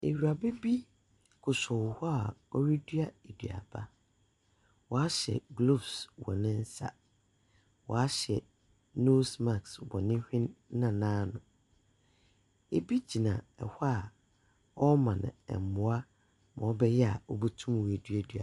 Ewuraba bi kosɔw hɔ a orudua eduaba, ɔahyɛ gloves wɔ ne nsa, ɔahyɛ nose mask wɔ ne hwen na n’ano. Obi gyina hɔ a ɔrema no mboa ma ɔbɛyɛ a obotum oeduadua .